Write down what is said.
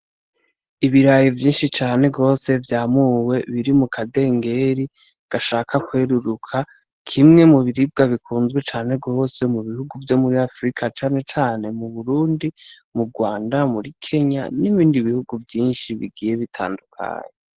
Ibirayi vyinshi cane gose vyamuwe biri mukandengeri gashaka kweruruka, kimwe mu biribwa bikunzwe cane gose mu bihugu vyo muri Afurika cane cane mu Burundi, mu Rwanda, muri Kenya n'ibindi bihugu vyinshi bigiye bitandukanye.